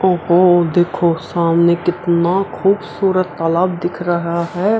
ओहो देखो सामने कितना खूबसूरत तालाब दिख रहा है।